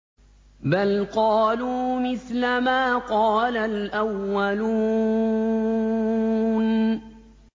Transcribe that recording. بَلْ قَالُوا مِثْلَ مَا قَالَ الْأَوَّلُونَ